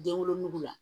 Den wolonugu la